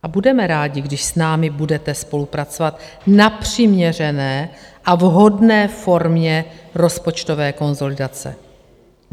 A budeme rádi, když s námi budete spolupracovat na přiměřené a vhodné formě rozpočtové konsolidace.